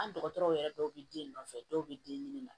An dɔgɔtɔrɔw yɛrɛ dɔw bɛ den nɔfɛ dɔw bɛ den ɲini i ma